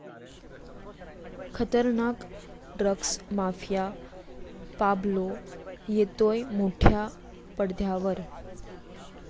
खतरनाक drugs mafia 'Pablo' येतोय मोठ्या पडद्यावर!